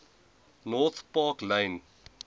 north park lane